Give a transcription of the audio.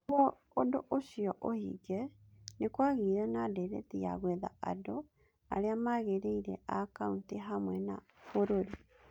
Nĩguo ũndũ ũcio ũhinge, nĩ kwagĩire na ndeereti ya gwetha andũ arĩa magĩrĩire a kaunti hamwe na bũrũri.